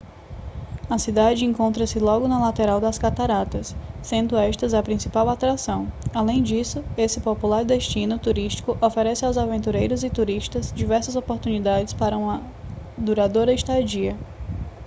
a cidade encontra-se logo na lateral das cataratas sendo estas a principal atração além disso este popular destino turístico oferece aos aventureiros e turistas diversas oportunidades para uma duradoura estadia